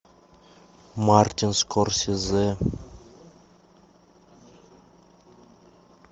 мартин скорсезе